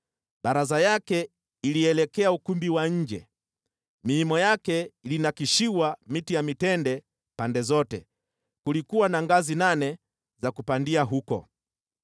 Baraza yake ilielekea ukumbi wa nje, miimo yake ilinakshiwa miti ya mitende pande zote. Kulikuwa na ngazi nane za kupandia huko.